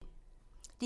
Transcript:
DR2